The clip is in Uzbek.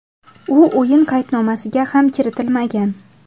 U o‘yin qaydnomasiga ham kiritilmagan.